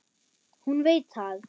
Hún veit það.